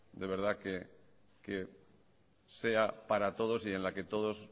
de verdad que sea para todos y con la que todos